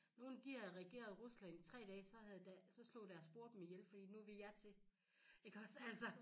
Nogen de havde regeret Rusland i 3 dage så havde deres så slog deres bror dem ihjel fordi nu vil jeg til iggås altså